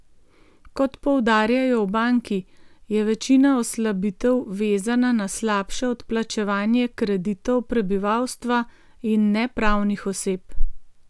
Kot poudarjajo v banki, je večina oslabitev vezana na slabše odplačevanje kreditov prebivalstva in ne pravnih oseb.